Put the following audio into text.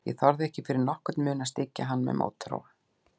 Ég þorði ekki fyrir nokkurn mun að styggja hann með mótþróa.